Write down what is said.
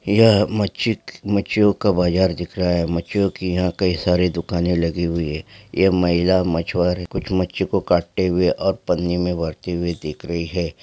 यह मच्छी मच्छियों का बाजार दिख रहा है मच्छियों की यहां कई सारी दुकानें लगी हुई है यह महिला मछुआरे कुछ मच्छियों को काटते हुए और पाने में भरते हुए दिख रही है।